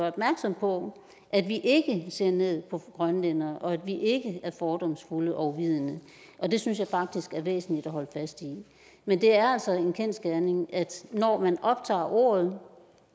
opmærksom på at vi ikke ser ned på grønlændere og at vi ikke er fordomsfulde og uvidende og det synes jeg faktisk er væsentligt at holde fast i men det er altså en kendsgerning at når man optager ordet